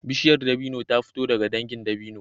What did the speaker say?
Bishiyar dabino ta fito daga dangin dabino